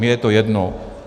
Mně je to jedno.